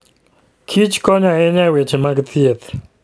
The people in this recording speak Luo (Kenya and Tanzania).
Kich konyo ahinya e weche mag thieth.